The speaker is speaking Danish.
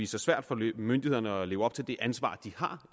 sig svært for myndighederne at leve op til det ansvar de har